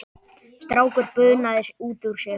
Strákur bunaði út úr sér